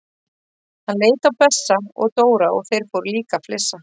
Hann leit á Bessa og Dóra og þeir fóru líka að flissa.